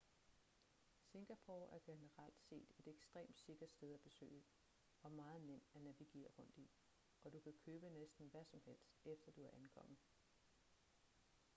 singapore er generelt set et ekstremt sikkert sted at besøge og meget nem at navigere rundt i og du kan købe næsten hvad som helst efter at du er ankommet